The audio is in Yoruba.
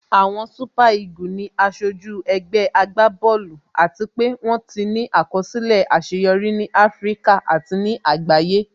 Àwọn super eagle ni aṣojú ẹgbẹ́ agbá bọ́ọ̀lù àti pé wón ti ní àkọsílẹ̀ àṣeyọrí ní Áfíríkà àti ní àgbáyé